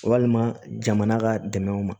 Walima jamana ka dɛmɛw ma